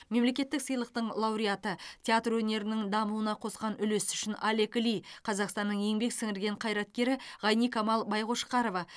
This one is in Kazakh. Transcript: мемлекеттік сыйлықтың лауреаты театр өнерінің дамуына қосқан үлесі үшін олег ли қазақстанның еңбек сіңірген қайраткері ғайникамал байқошқарова